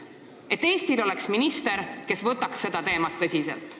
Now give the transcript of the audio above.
Et Eestil oleks minister, kes võtaks seda teemat tõsiselt.